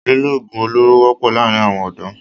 Lílò ogun olóro wọpọ laarin awọn ọdọ